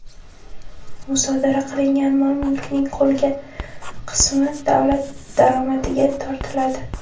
Musodara qilingan mol-mulkning qolgan qismi davlat daromadiga tortiladi.